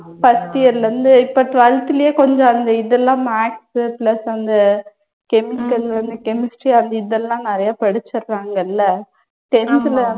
first year ல இருந்து. இப்ப twelfth லயே கொஞ்சம் அந்த இதெல்லாம் maths உ plus வந்து chemical வந்து chemistry அது இதெல்லாம் நிறைய படிச்சிடுறாங்கல்ல tenth ல